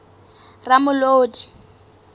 ramolodi